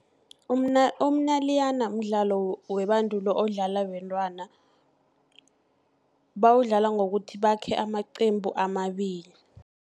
Umnayilani mdlalo webandulo, odlala bentwana, bawudlala ngokuthi bakhe amaqembu amabili.